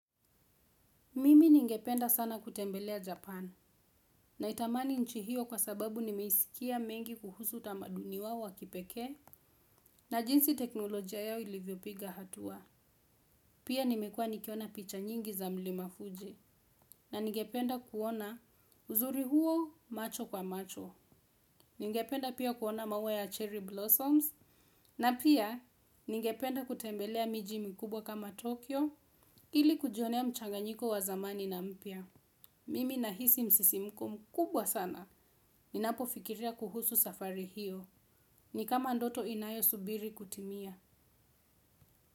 Mimi ningependa sana kutembelea Japan, naitamani nchi hiyo kwa sababu nimeisikia mengi kuhusu utamaduni wao wa kipekee, na jinsi teknolojia yao ilivyopiga hatua. Pia nimekuwa nikiona picha nyingi za mlima Fuji na ningependa kuona uzuri huo macho kwa macho. Ningependa pia kuona maua ya cherryblossoms na pia ningependa kutembelea miji mikubwa kama Tokyo ili kujionea mchanganyiko wa zamani na mpya. Mimi nahisi msisimko mkubwa sana. Ninapofikiria kuhusu safari hiyo. Ni kama ndoto inayosubiri kutimia.